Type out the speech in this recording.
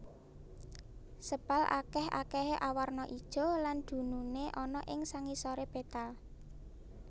Sepal akèh akèhé awarna ijo lan dununé ana ing sangisoré petal